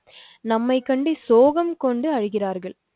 நம்மைக்கண்டு சோகம் கொண்டு அழுகிறார்கள்